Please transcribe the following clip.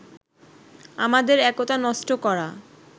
আমাদের একতা নষ্ট করা